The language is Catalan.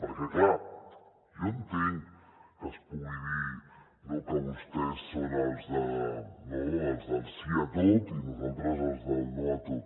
perquè clar jo entenc que es pugui dir que vostès són els del sí a tot i nosaltres els del no a tot